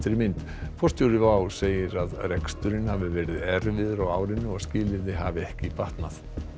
mynd forstjóri WOW segir að reksturinn hafi verið erfiður á árinu og skilyrði hafi ekki batnað